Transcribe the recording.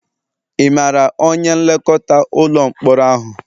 Ị maara onye nlekọta ụlọ mkpọrọ ahụ?